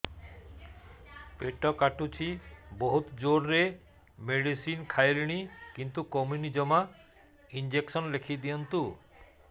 ପେଟ କାଟୁଛି ବହୁତ ଜୋରରେ ମେଡିସିନ ଖାଇଲିଣି କିନ୍ତୁ କମୁନି ଜମା ଇଂଜେକସନ ଲେଖିଦିଅନ୍ତୁ